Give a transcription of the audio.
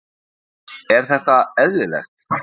Er þetta eðlilegt?